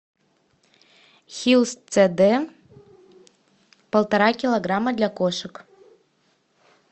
хиллс цд полтора килограмма для кошек